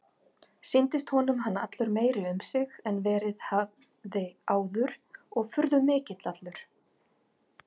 Sýndist honum hann allur meiri um sig en verið hafði áður og furðumikill allur.